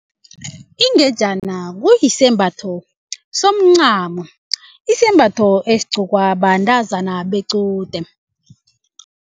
Ingejana kuyisembatho somncamo isembatho esigcokwa bantazana bequde.